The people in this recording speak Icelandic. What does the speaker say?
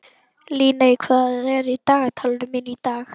Líney, hvað er í dagatalinu mínu í dag?